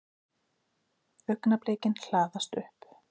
Augnablikin hlaðast upp.